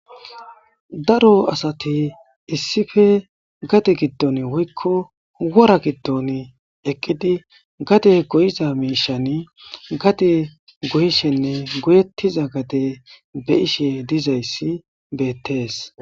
Daaro assati issippe gaade giidon eqqidi gaade goyishshenne goyyetida gadde beishe dizaysi bettes.